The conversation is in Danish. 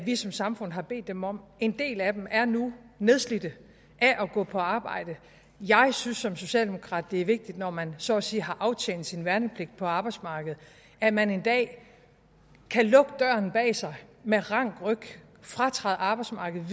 vi som samfund har bedt dem om en del af dem er nu nedslidte af at gå på arbejde jeg synes som socialdemokrat at det er vigtigt når man så at sige har aftjent sin værnepligt på arbejdsmarkedet at man en dag kan lukke døren bag sig med rank ryg og fratræde arbejdsmarkedet